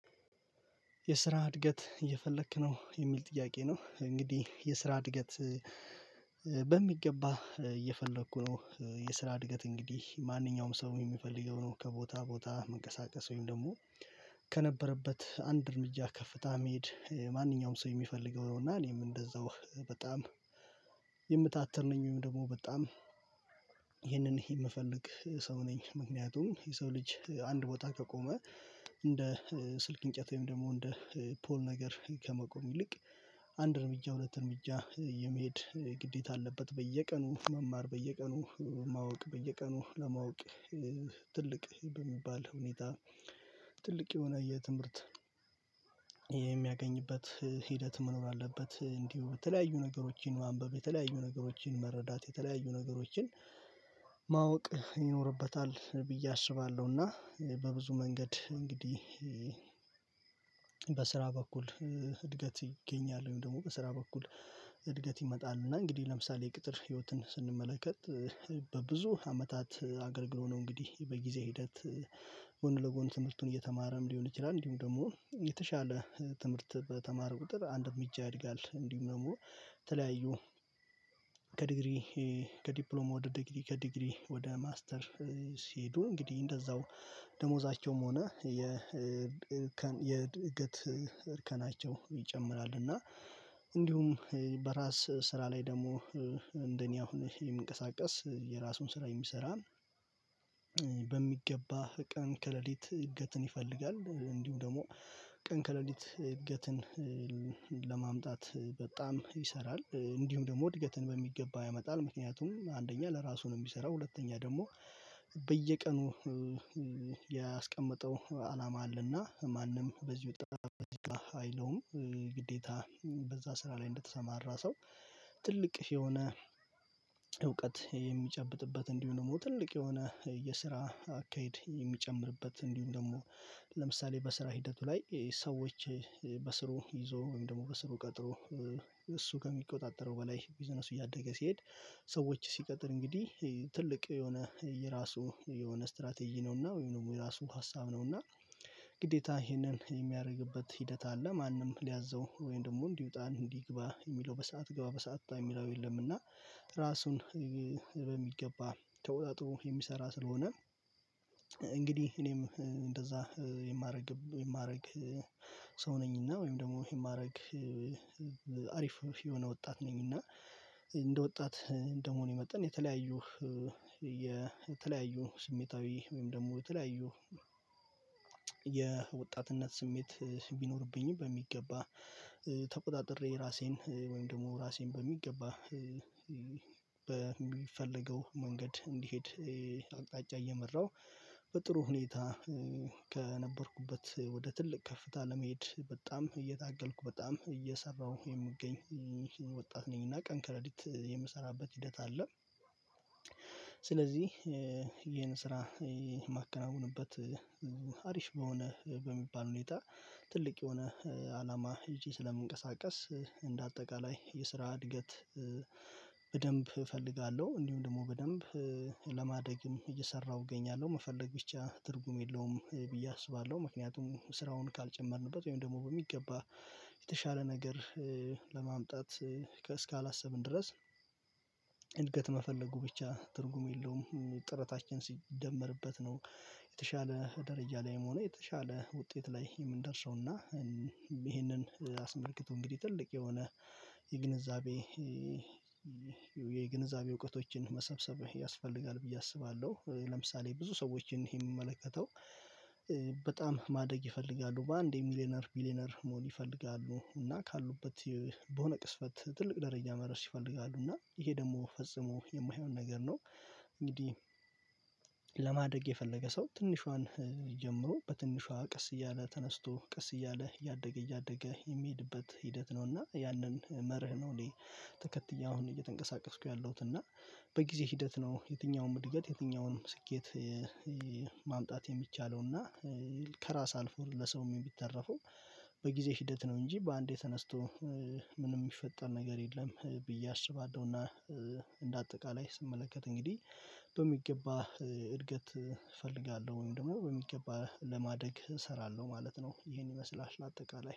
የስራ እድገት እየፈለክ ነው የሚል ጥያቄ ነው እንግዲህ የስራ እድገት በሚገባ እየፈለኩ ነው የስራ እድገት እንግዲህ ማንኛውም ሰው የሚፈልገው ነው ከቦታ ቦታ መንቀሳቀስ ወይም ደግሞ ከነበረበት አንድ እርምጃ ከፍታ መሄድ ማንኛውም ሰው የሚፈልገው እና እኔም እንደዛው በጣም የምታትር ነኝ ወይም ደግሞ በጣም ይህንን የምፈልግ ሰው ነኝ ምክንያቱም የሰው ልጅ አንድ ቦታ ከቆመ እንደ ስልክ እንጨት ወይም ደግሞ እንደ ፖል ነገር ከመቆም ይልቅ አንድ እርምጃ ሁለት እርምጃ የመሄድ ግዴታ አለበት በየቀኑ መማር በየቀኑ ማወቅ በየቀኑ ለማወቅ ትልቅ በሚባል ሁኔታ ትልቅ የሆነ የትምህርት የሚያገኝበት ሂደት መኖር አለበት እንዲሁ በተለያዩ ነገሮችን ማንበብ የተለያዩ ነገሮችን መረዳት የተለያዩ ነገሮችን ማወቅ ይኖርበታል ብዬ አስባለሁና በብዙ መንገድ እንግዲህ በስራ በኩል እድገት ይገኛል ወይም ደግሞ በስራ በኩል እድገት ይመጣል እና እንግዲህ ለምሳሌ የቅጥር ህይወትን ስንመለከት በብዙ አመታት አገልግሎ ነው እንግዲህ በጊዜ ሂደት ጎን ለጎን ትምህርቱን እየተማረም ሊሆን ይችላል እንዲሁም ደግሞ የተሻለ ትምህርት በተማረ ቁጥር አንድ እምጃ ያድጋል እንዲሁም ነው ደግሞ ተለያዩ ከዲግሪ ከዲፕሎማ ወደ ዲግሪ ከዲግሪ ወደ ሲሄዱ እንግዲህ እንደዛው ደሞዛቸውም ሆነ የ የድገት እርከናቸው ይጨምራል እና እንዲሁም በራስ ስራ ላይ ደግሞ እንደኔ አሁን ይሄ የምንቀሳቀስ የራሱን ስራ የሚሰራን በሚገባ ቀን ከሌሊት እድገትን ይፈልጋል እንዲሁ ደግሞ ቀን ከሌሊት እድገትን ለማምጣት በጣም ይሰራል እንዲሁም ደግሞ እድገትን በሚገባ ያመጣል ምክንያቱም አንደኛ ለእራሱ ነው እሚሰራው ሁለተኛ ደግሞ በየቀኑ ያስቀመጠው አላማ አለና ማንም በዚህ ወጣት በዚህ ጋር አይለውም። ግዴታ በዛ ስራ ላይ እንደተሰማራ ሰው ትልቅ የሆነ እውቀት የሚጨብጥበት እንዲሁ ደግሞ ትልቅ የሆነ የስራ አካሄድ የሚጨምርበት እንዲሁ ደግሞ ለምሳሌ በስራ ሂደቱ ላይ ሰዎች በስሩ ይዞ ወይም ደግሞ በስሩ ቀጥሮ እሱ ከሚቆጣጠረው በላይ ቢዝነሱ እያደገ ሲሄድ ሰዎች ሲቀጥር እንግዲህ ትልቅ የሆነ የራሱ የሆነ ስትራቴጂ ነውና ወይም የራሱ ሀሳብ ነውና ግዴታ ይሄንን የሚያደርግበት ሂደት አለ። ማንም ሊያዘው ወይም ደግሞ እንዲውጣ እንዲግባ የሚለው በሰአት ግባ በሰአት የሚለው የለም። እና ራሱን በሚገባ ተወጣጥሮ የሚሰራ ስለሆነ፤ እንግዲህ እኔም እንደዛ የማደርግ የማደርግ ሰው ነኝና ወይም ደግሞ የማደርግ አሪፍ የሆነ ወጣት ነኝ እና እንደ ወጣት እንደመሆን የመጣን የተለያዩ የተለያዩ ስሜታዊ ወይም ደግሞ የተለያዩ የወጣትነት ስሜት ቢኖርብኝም በሚገባ ተቆጣጥሬ ራሴን ወይም ደግሞ ራሴን በሚገባ በሚፈልገው መንገድ እንዲሄድ አቅጣጫ እየመራው በጥሩ ሁኔታ ከነበርኩበት ወደ ትልቅ ከፍታ ለመሄድ በጣም እየታገልኩ በጣም እየሰራሁ የምገኝ ወጣት ነኝ። እና ቀን ክረዲት የምሰራበት ሂደት አለ። ስለዚህ ይሄን ስራ የማከናውንበት አሪፍ በሆነ በሚባል ሁኔታ ትልቅ የሆነ አላማ እጄ ስለምንቀሳቀስ እንደ አጠቃላይ የስራ እድገት በደንብ እፈልጋለሁ። እንዲሁም ደግሞ በደንብ ለማደግም እየሰራሁ እገኛለሁ። መፈለግ ብቻ ትርጉም የለውም ብዬ አስባለሁ። ምክንያቱም ስራውን ካልጨመርንበት ወይም ደግሞ በሚገባ የተሻለ ነገር ከእስካላሰብን ድረስ እድገት መፈለጉ ብቻ ትርጉም የለውም። ጥረታችን ሲደመርበት ነው የተሻለ ደረጃ ላይ የመሆኑ የተሻለ ውጤት ላይ የምንደርሰው፤ እና ይሄንን አስመልክቶ እንግዲህ ትልቅ የሆነ የግንዛቤ የግንዛቤ እውቀቶችን መሰብሰብ ያስፈልጋል። ብዬ አስባለሁ። ለምሳሌ ብዙ ሰዎችን ይሄ የሚመለከተው በጣም ማደግ ይፈልጋሉ። በአንዴ ሚሊየነር ሚሊየነር መሆን ይፈልጋሉ። እና ካሉበት በሆነ ቅስፈት ትልቅ ደረጃ መረስ ይፈልጋሉ። እና ይሄ ደግሞ ፈጽሞ የማይሆን ነገር ነው። እንግዲህ ለማደግ የፈለገ ሰው ትንሿን ጀምሮ በትንሿ ቀስ እያለ ተነስቶ ቀስ እያለ እያደገ እያደገ የሚሄድበት ሂደት ነው። እና ያንን መርህ ነው እኔ ተከትዬ አሁን እየተንቀሳቀስኩ ያለሁት እና በጊዜ ሂደት ነው የትኛውም ምድገት የትኛውም ስኬት ማምጣት የሚቻለው። እና ከራስ አልፎ ለሰውም የሚተረፈው በጊዜ ሂደት ነው እንጂ በአንዴ ተነስቶ ምንም የሚፈጠር ነገር የለም። ብዬ አስባለሁና እንደ አጠቃላይ ስመለከት እንግዲህ በሚገባ እድገት እፈልጋለሁ። ወይም ደግሞ በሚገባ ለማደግ እሰራለሁ ማለት ነው። ይሄን ይመስላል አጠቃላይ።